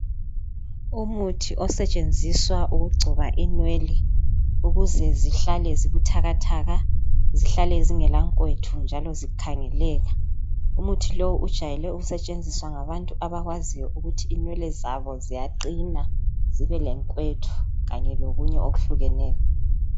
Umuthi osetshenziswa ukugcoba inwele ukuze zihlale zibuthakathaka ,zihlale zingela nkwethu njalo zikhangeleka. Umuthi lowu ujwayele ukusetshenziswa ngabantu abakwaziyo ukuthi inwele zabo ziyaqina zibelenkwethu, kanye lokunye okuhlukeneyo.